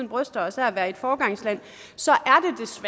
bryster os af at være et foregangsland så